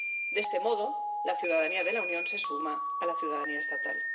De este modo, la ciudadanía de la Unión se suma a la ciudadanía estatal.